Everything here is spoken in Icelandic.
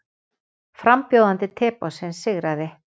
Frambjóðandi Teboðsins sigraði